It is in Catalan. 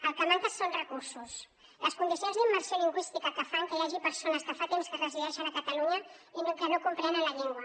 el que manca són recursos les condicions d’immersió lingüística que fan que hi hagi persones que fa temps que resideixen a catalunya i que no comprenen la llengua